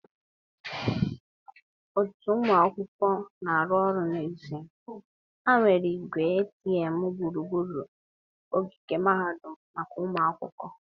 otu ụmụ akwụkwọ na-arụ ọrụ n'ezie, ha wuru igwe ATM gburugburu ogige mahadum maka ụmụ akwụkwọ.